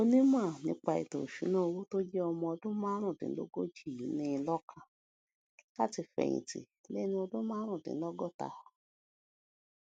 onímò nípa ètò ìṣúnná owó tó jé ọmọ ọdún márùndínlógójì yìí ní in lókàn láti fèyìn tì léni ọdún márùndínlógóta